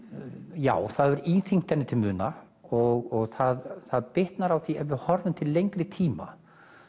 já það hefur íþyngt henni til muna og það það bitnar á því til lengri tíma